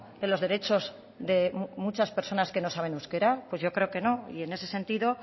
de los derechos de muchas personas que no saben euskera pues yo creo que no y en ese sentido